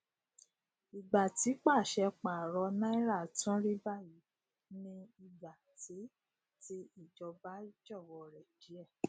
ìgbà tí pàṣẹ paro náírà tún rí bayi ni igba ti ti ìjọba jọwọ rẹ díè